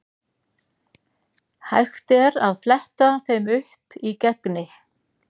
Hægt er að fletta þeim upp í Gegni.